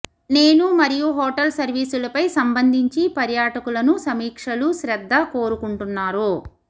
నేను మరియు హోటల్ సర్వీసులపై సంబంధించి పర్యాటకులను సమీక్షలు శ్రద్ద కోరుకుంటున్నారో